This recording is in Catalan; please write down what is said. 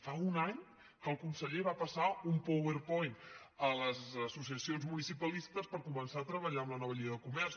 fa un any que el conseller va passar un powerpoint a les associacions municipalistes per començar a treballar amb la nova llei de comerç